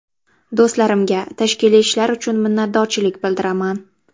Do‘stlarimga tashkiliy ishlar uchun minnatdorchilik bildiraman.